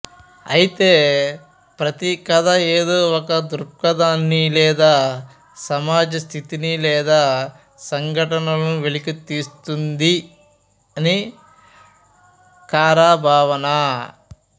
అయితే ప్రతి కథా ఏదో ఒక దృక్పథాన్ని లేదా సమాజ స్థితిని లేదా ఘటనలను వెలికి తీస్తుందని కారా భావన